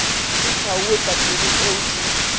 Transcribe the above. di tshwauwe pampiring eo di